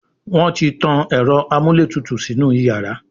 Wón tí tán Ẹ̀rọ amúlétutù sínú iyàrá.